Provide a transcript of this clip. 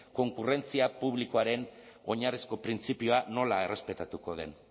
konkurrentzia publikoaren oinarrizko printzipioa nola errespetatuko den